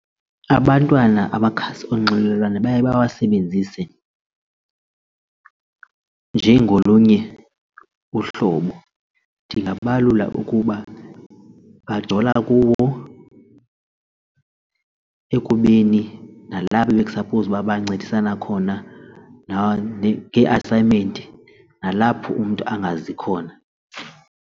Abantwana amakhasi onxibelelwano baye bawasebenzise njengolunye uhlobo ndingabalula ukuba bajola kuwo ekubeni nalapho bekusaphowuzi uba bayancedisana khona nangee-assignment nalapho umntu angazi khona.